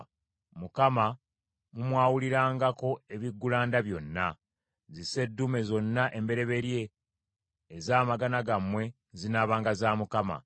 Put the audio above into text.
Mukama mumwawulirangako ebiggulanda byonna. Zisseddume zonna embereberye ez’amagana gammwe zinaabanga za Mukama .